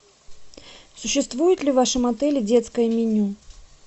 существует ли в вашем отеле детское меню